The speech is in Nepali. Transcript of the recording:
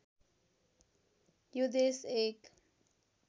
यो देश एक